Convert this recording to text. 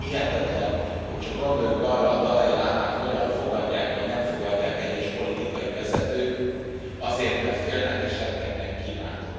Hihetetlen, hogy csak gondoljunk arra, a dalai lámát hogyan fogadják vagy nem fogadják egyes politikai vezetők, azért, mert félnek és rettegnek Kínától.